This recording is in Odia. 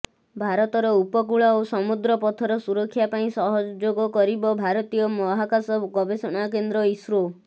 ଭାରତର ଉପକୂଳ ଓ ସମୁଦ୍ର ପଥର ସୁରକ୍ଷା ପାଇଁ ସହଯୋଗ କରିବ ଭାରତୀୟ ମହାକାଶ ଗବେଷଣା କେନ୍ଦ୍ର ଇସ୍ରୋ